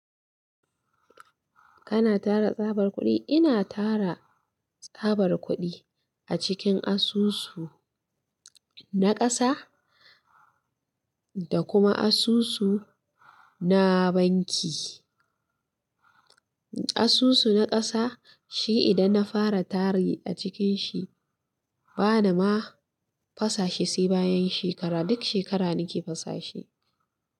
Kana tara tsabar kuɗi? Ina tara tsabar kuɗi a cikin asusu na ƙasa da kuma asusu na banki. Asusu na ƙasa shi idan na fara tari a cikin shi bana ma fasashe sai bayan shekara, duk shekara nike fasashe.